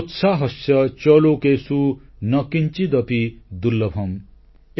ସୋତ୍ସାହସ୍ୟ ଚ ଲୋକେଷୁ ନ କିଂଚିଦପି ଦୁର୍ଲ୍ଲଭମ୍